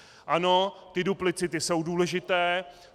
Ano, ty duplicity jsou důležité.